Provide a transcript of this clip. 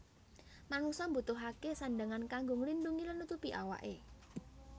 Manungsa mbutuhaké sandhangan kanggo nglindhungi lan nutupi awaké